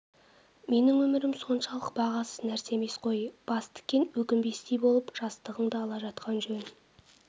менің өмірім соншалық бағасыз нәрсе емес қой бас тіккен соң өкінбестей болып жастығыңды ала жатқан жөн